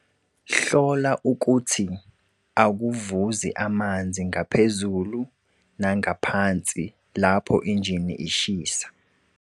Hlola ukuthi akuvuzi amanzi ngaphezulu nangaphansi lapho injini ishisa.